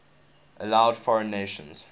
allowed foreign nations